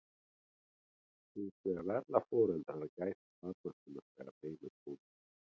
hins vegar verða foreldrar að gæta barna sinna þegar heim er komið